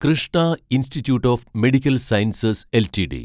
Krishna institute of medical sciences LTD